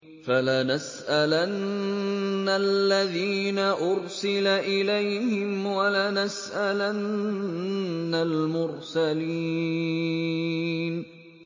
فَلَنَسْأَلَنَّ الَّذِينَ أُرْسِلَ إِلَيْهِمْ وَلَنَسْأَلَنَّ الْمُرْسَلِينَ